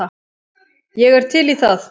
Ég er til í það.